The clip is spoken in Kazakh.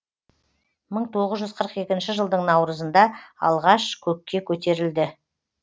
мың тоғыз жүз қырық екінші жылдың наурызында алғаш көкке көтерілді